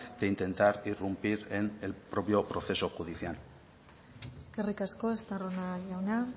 de intentar irrumpir en el propio proceso judicial eskerrik asko estarrona jauna